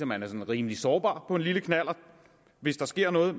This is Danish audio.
man er sådan rimelig sårbar på en lille knallert hvis der sker noget